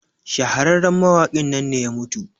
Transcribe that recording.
shahararren mawakin nan ne ya mutu